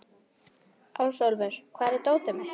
Ásólfur, hvar er dótið mitt?